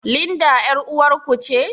Linda ƴar uwar ku ce?